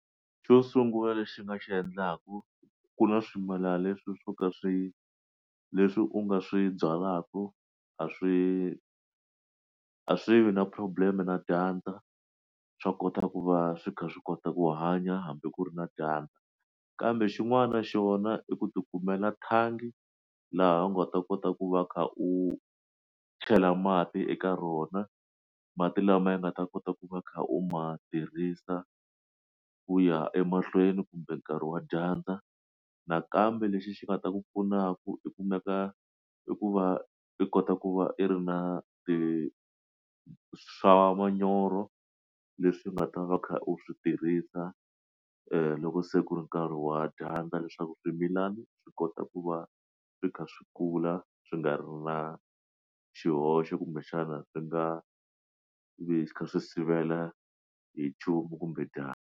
Xo sungula lexi nga xi endlaku ku na swimila leswi swo ka swi leswi u nga swi byalaka a swi a swi vi na problem na dyandza swa kota ku va swi kha swi kota ku hanya hambi ku ri na dyandza kambe xin'wana xona i ku ti kumela thangi laha u nga ta kota ku va kha u chela mati eka rona mati lama nga ta kota ku va kha u ma tirhisa ku ya emahlweni kumbe nkarhi wa dyandza nakambe lexi xi nga ta ku pfunaku i ku maka i ku va i kota ku va i ri na ti swa manyoro leswi nga ta va kha u swi tirhisa loko se ku ri nkarhi wa dyandza leswaku swimilana swi kota ku va swi kha swi kula swi nga ri na xihoxo kumbexana swi nga vi swi sivela hi nchumu kumbe dyandza.